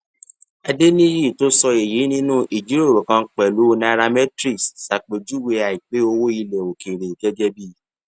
adeniyi tó sọ èyí nínú ìjíròrò kan pẹlú nairametrics ṣàpèjúwe àìpé owó ilẹ òkèèrè gẹgẹ bí